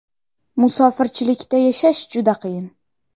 Musofirchilikda yashash juda qiyin.